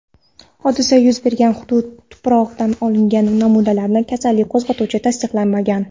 hodisa yuz bergan hudud tuprog‘idan olingan namunalarda kasallik qo‘zg‘atuvchisi tasdiqlanmagan.